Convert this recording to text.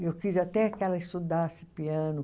Eu quis até que ela estudasse piano.